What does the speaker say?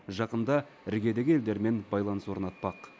жақында іргедегі елдермен байланыс орнатпақ